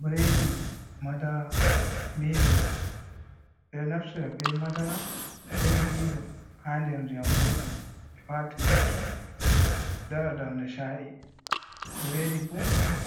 Bredi madara miilo ɓeɗo naftira be madara be milo ha nder ndiyam guldam be wata lipton dara darda sha’i, bredi bo